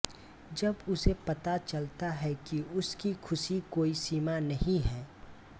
जब उसे पता चलता है कि उसकी खुशी कोई सीमा नहीं है